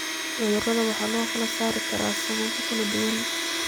Cudurrada waxaa loo kala saari karaa sababo kala duwan.